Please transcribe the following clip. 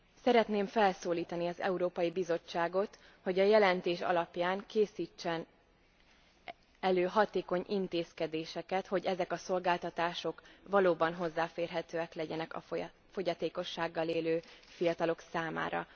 Szeretném felszólítani az Európai Bizottságot, hogy a jelentés alapján készítsen elő hatékony intézkedéseket, hogy ezek a szolgáltatások valóban hozzáférhetők legyenek a fogyatékossággal élő fiatalok számára.